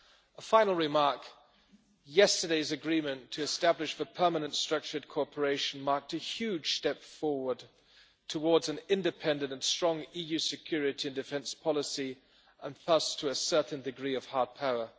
A final remark yesterday's agreement to establish the permanent structured cooperation marked a huge step forward towards an independent and strong EU security and defence policy, and thus to a certain degree of hard power.